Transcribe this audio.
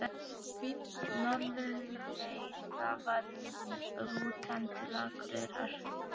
Norðurleið, það var rútan til Akureyrar!